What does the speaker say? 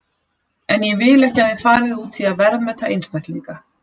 En ég vil ekki að þið farið út í að verðmeta einstaklinga.